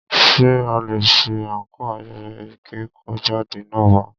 Ṣé aṣọ àńkò ayẹyẹ ìkẹ́kọ̀jáde náà wà?